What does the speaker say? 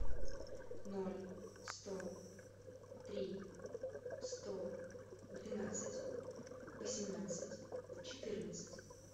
ноль сто три сто двенадцать восемнадцать четырнадцать